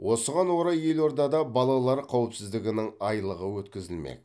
осыған орай елордада балалар қауіпсіздігінің айлығы өткізілмек